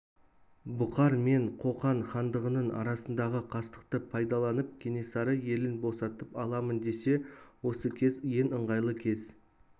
бұқар мен қоқан хандығының арасындағы қастықты пайдаланып кенесары елін босатып аламын десе осы кез ең ыңғайлы кез